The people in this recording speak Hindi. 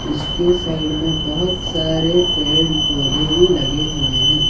उसके साइड में बहोत सारे पेड़ पौधे भी लगे हुए हैं।